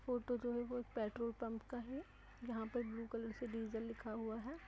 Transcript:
Photo जो है वो एक पेट्रोल पंप का है जहां पर ब्लू कलर से डीजल लिखा हुआ हैं।